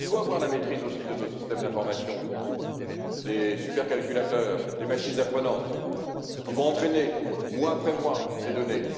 Il faut également avoir la maîtrise de nos systèmes d'information, des supercalculateurs, des machines apprenantes qui vont entraîner, mois après mois, ces données.